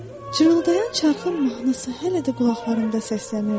Cırıltayan çarxın mahnısı hələ də qulaqlarımda səslənirdi.